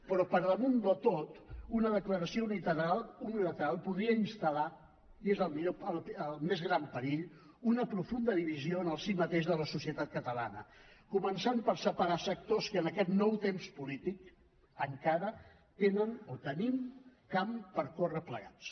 però per damunt de tot una declaració unilateral podria instal·lar i és el més gran perill una profunda divisió en el si mateix de la societat catalana començant per separar sectors que en aquest nou temps polític encara tenen o tenim camp per recórrer plegats